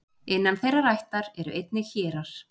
Innan þeirrar ættar eru einnig hérar.